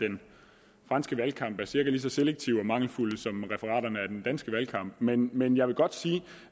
den franske valgkamp er cirka lige så selektive og mangelfulde som referaterne af den danske valgkamp men men jeg vil godt sige